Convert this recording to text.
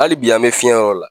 Ali bi an be fiɲɛ yɔrɔ la